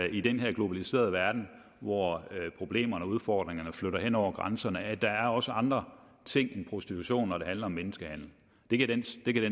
i den her globaliserede verden hvor problemerne udfordringerne flytter hen over grænserne at der også er andre ting end prostitution når det handler om menneskehandel det kan den